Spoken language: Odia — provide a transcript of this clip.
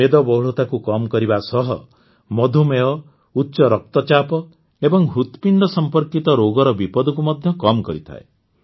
ମେଦବହୁଳତାକୁ କମ୍ କରିବା ସହ ମଧୁମେହ ଉଚ୍ଚ ରକ୍ତଚାପ ଏବଂ ହୃତପିଣ୍ଡ ସମ୍ପର୍କିତ ରୋଗର ବିପଦକୁ ମଧ୍ୟ କମ୍ କରିଥାଏ